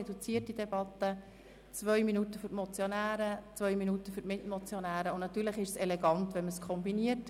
Reduzierte Debatte heisst zwei Minuten für die Motionäre, zwei Minuten für die Mitmotionäre, und natürlich ist es elegant, wenn man es kombiniert.